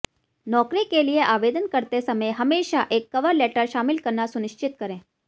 नौकरी के लिए आवेदन करते समय हमेशा एक कवर लेटर शामिल करना सुनिश्चित करें